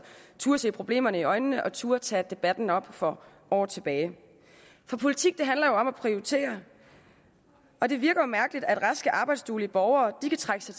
turde se problemerne i øjnene og turde tage debatten op for år tilbage for politik handler jo om at prioritere og det virker mærkeligt at raske arbejdsduelige borgere kan trække sig